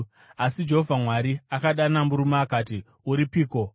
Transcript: Asi Jehovha Mwari akadana murume akati, “Uripiko?”